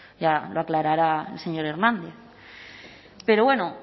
ya lo aclarará el señor hernández pero bueno